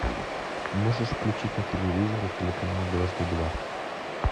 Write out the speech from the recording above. можешь включить на телевизоре телеканал дважды два